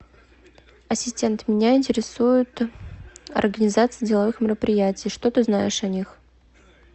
ассистент меня интересует организация деловых мероприятий что ты знаешь о них